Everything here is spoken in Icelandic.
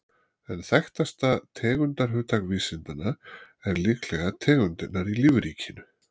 En þekktasta tegundarhugtak vísindanna er líklega tegundirnar í lífríkinu.